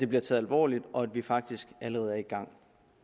bliver taget alvorligt og at vi faktisk allerede er i gang